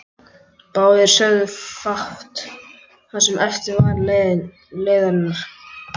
Báðir sögðu fátt það sem eftir var leiðarinnar.